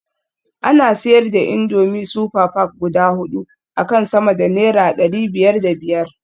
Ana siyar da indomie super pack guda hudu akan sama da naira dari biyar da biyar